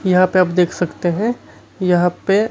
यहां पे आप देख सकते हैं यहां पे--